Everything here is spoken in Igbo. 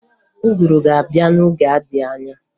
Ụgụru ga-abịa n'oge na-adịghị anya